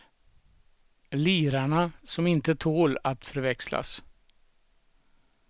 Lirarna som inte tål att förväxlas.